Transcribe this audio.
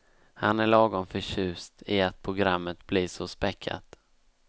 Han är lagom förtjust i att programmet blir så späckat.